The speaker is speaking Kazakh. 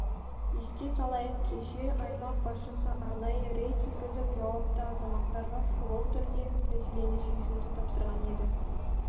еске салайық кеше аймақ басшысы арнайы рейд жүргізіп жауапты азаматтарға шұғыл түрде мәселені шешуді тапсырған еді